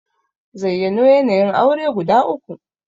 Zayyano yanayin aure guda uku?